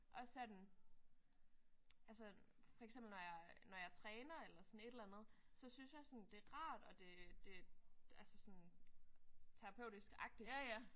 Også sådan altså for eksempel når jeg når jeg træner eller sådan et eller andet så synes sådan jeg det er rart og det det altså sådan terapeutisk agtigt